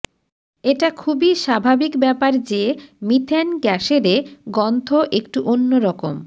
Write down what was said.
এটা খুবই স্বাভাবিক ব্যাপার যে মিথেন গ্যাসেরে গন্থ একটু অন্যরকম